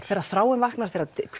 þegar þráin vaknar þegar